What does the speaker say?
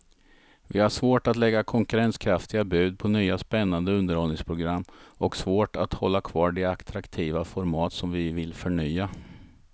Vi har svårt att lägga konkurrenskraftiga bud på nya spännande underhållningsprogram och svårt att hålla kvar de attraktiva format som vi vill förnya.